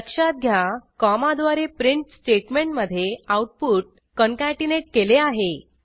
लक्षात घ्या कॉमाद्वारे प्रिंट स्टेटमेंटमधे आऊटपुट कंकॅटीनेट केले आहे